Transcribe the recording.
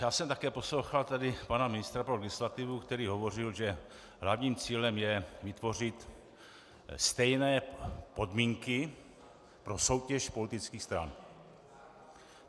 Já jsem také poslouchal tady pana ministra pro legislativu, který hovořil, že hlavním cílem je vytvořit stejné podmínky pro soutěž politických stran.